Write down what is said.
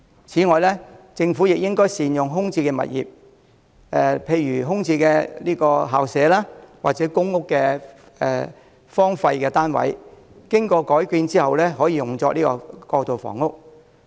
此外，政府應善用空置的物業，例如空置校舍或公屋荒廢單位，在經過改建後用作過渡性房屋。